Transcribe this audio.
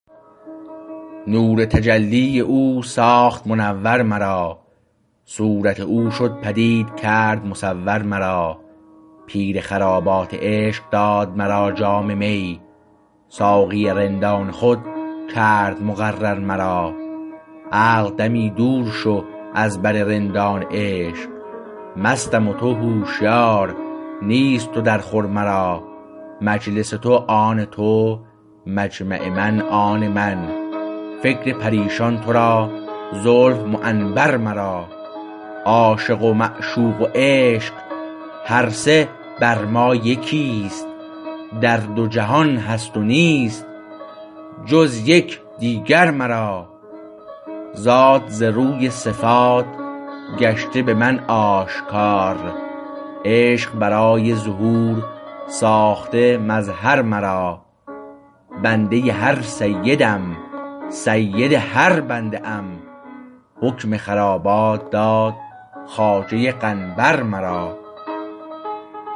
نور تجلی او ساخت منور مرا صورت او شد پدید کرد مصور مرا پیر خرابات عشق داد مرا جام می ساقی رندان خود کرد مقرر مرا عقل دمی دور شو از بر رندان عشق مستم و تو هشیار نیست تو در خور مرا مجلس تو آن تو مجمع من آن من فکر پریشان تو را زلف معنبر مرا عاشق و معشوق و عشق هر سه بر ما یکیست در دو جهان هست نیست جز یک دیگر مرا ذات ز روی صفات گشته به من آشکار عشق برای ظهور ساخته مظهر مرا بنده هر سیدم سید هر بنده ام حکم خرابات داد خواجه قنبر مرا